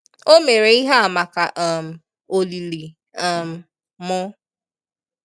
O mere ihe a maka um olili um m